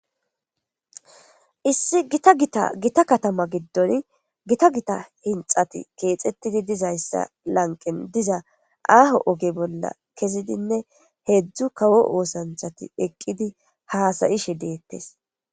issi gita gita gita katama giddon gita gita hinxati keexettidi dizayssa lanqen diza aaho oge bolla kezidinne heedzdzu kawo oosanthati eqqidi haasayishe deettes